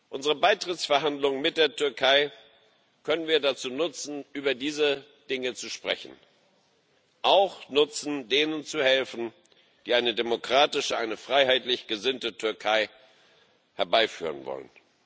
Unsere Beitrittsverhandlungen mit der Türkei können wir dazu nutzen, über diese Dinge zu sprechen und denen zu helfen, die eine demokratische, eine freiheitlich gesinnte Türkei herbeiführen wollen.